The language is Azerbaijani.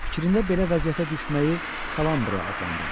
Fikrinndə belə vəziyyətə düşməyi kalambriya adlandırdı.